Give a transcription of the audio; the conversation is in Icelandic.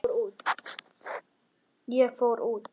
Ég fór út.